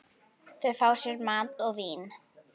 Þau fá sér mat og vín.